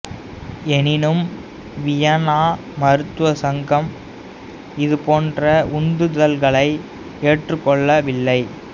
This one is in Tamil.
எனினும் வியன்னா மருத்துவ சங்கம் இது போன்ற உந்துதல்களை ஏற்றுக்கொள்ளவில்லை